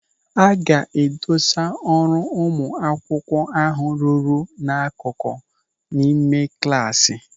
A ga-edosa ọrụ ụmụ akwụkwọ ahụ rụrụ n'akụkụ n'ime klasị.